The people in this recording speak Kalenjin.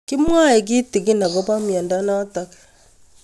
Kimwae kitig'in akopo miondo notok